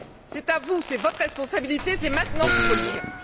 C'est à vous, c'est votre responsabilité, c'est maintenant qu'il faut le dire.